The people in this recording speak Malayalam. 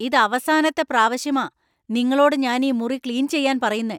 ഇത് അവസാനത്തെ പ്രാവശ്യമാ നിങ്ങളോട് ഞാനീ മുറി ക്ലീന്‍ ചെയ്യാന്‍ പറയുന്നെ.